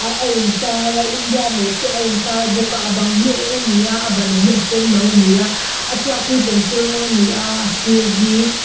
a a in tar a india map te a in tar bawk a a bang hi a eng ani a a ban hi a senno ani a a chhuat hi pencil rawng ani a a sir hi--